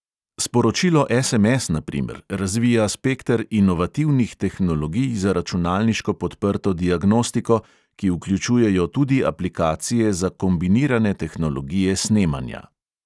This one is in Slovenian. Sporočilo SMS, na primer, razvija spekter inovativnih tehnologij za računalniško podprto diagnostiko, ki vključujejo tudi aplikacije za kombinirane tehnologije snemanja.